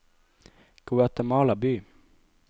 Guatemala by